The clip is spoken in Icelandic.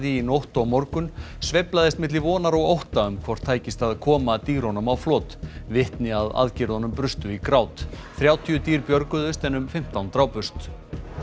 í nótt og morgun sveiflaðist milli vonar og ótta um hvort tækist að koma dýrunum á flot vitni að aðgerðunum brustu í grát þrjátíu dýr björguðust en um fimmtán drápust